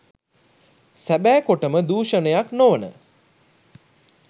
සැබෑ කොටම දූෂණයක් නොවන